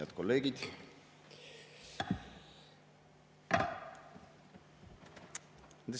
Head kolleegid!